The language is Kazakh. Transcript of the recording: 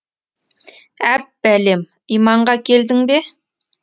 әп бәлем иманға келдің бе